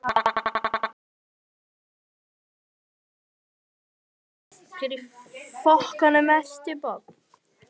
Bæir mara til hálfs í þoku, reykur upp